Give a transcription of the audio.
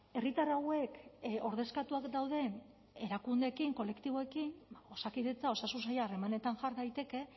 herritar hauek ordezkatuak dauden erakundeekin kolektiboekin osakidetza osasun saila harremanetan jar daiteke